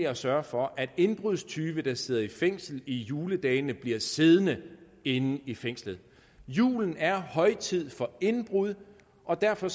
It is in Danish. at sørge for at indbrudstyve der sidder i fængsel i juledagene bliver siddende inde i fængslet julen er højtid for indbrud og derfor